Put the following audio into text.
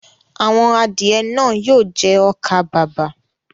Àwọn adìẹ náà yóò jẹ ọkà-bàbà.